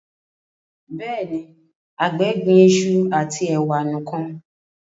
béèni àgbè gbìn iṣu ati ewa nìkàn.